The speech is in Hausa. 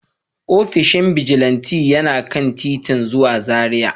Ofishin bijilanti yana kan titin zuwa Zaria.